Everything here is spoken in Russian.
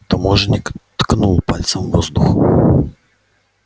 таможенник ткнул пальцем в воздух